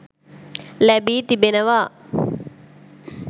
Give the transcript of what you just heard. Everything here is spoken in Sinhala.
ලැබි තිබෙනවා.